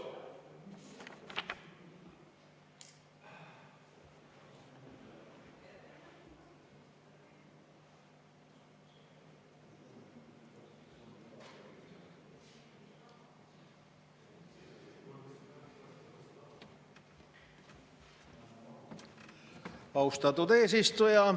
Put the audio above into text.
Austatud eesistuja!